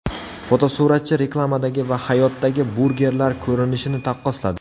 Fotosuratchi reklamadagi va hayotdagi burgerlar ko‘rinishini taqqosladi.